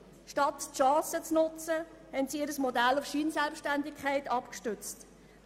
Statt eine Chance zu nutzen, haben sie ihr Modell auf Scheinselbständigkeit abgestützt.